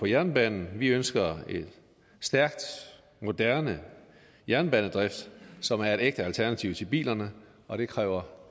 jernbanen vi ønsker en stærk moderne jernbanedrift som er et ægte alternativ til bilerne og det kræver